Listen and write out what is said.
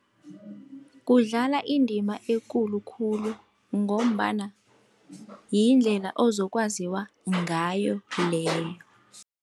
Kudlala indima ekulu khulu, ngombana yindlela ozokwaziwa ngayo leyo.